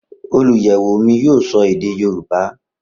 Oluyẹwo mi yoo sọ ede Yoruba.